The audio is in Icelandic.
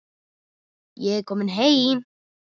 Ég er kominn heim!